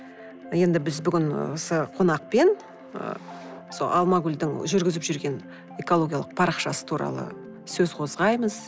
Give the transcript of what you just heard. енді біз бүгін ы осы қонақпен ы сол алмагүлдің жүргізіп жүрген экологиялық парақшасы туралы сөз қозғаймыз